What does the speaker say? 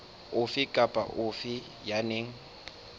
ofe kapa ofe ya nang